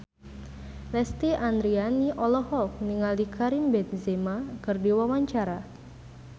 Lesti Andryani olohok ningali Karim Benzema keur diwawancara